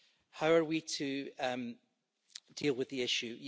How are we to deal with the issue?